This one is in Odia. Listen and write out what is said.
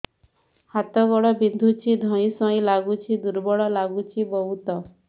ହାତ ଗୋଡ ବିନ୍ଧୁଛି ଧଇଁସଇଁ ଲାଗୁଚି ଦୁର୍ବଳ ଲାଗୁଚି ବହୁତ